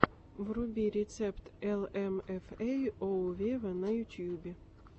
вруби рецепт эл эм эф эй оу вево на ютубе